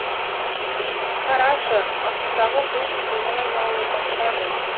қарашы астыңдағы бұлт суға айнала бастады